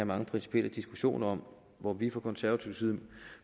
mange principielle diskussioner om hvor vi fra konservativ side